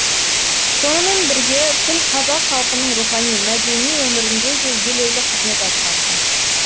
сонымен бірге тіл қазақ халқының рухани мәдени өмірінде де елеулі қызмет атқарды